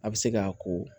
A bɛ se k'a ko